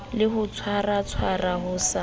le ho tshwaratshwara ho sa